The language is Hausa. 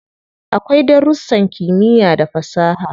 Akwai darussan kimiyya da fasaha.